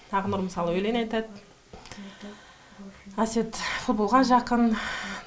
ақнұр мысалы өлең айтады әсет футболға жақын